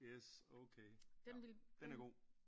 Yes okay ja den er god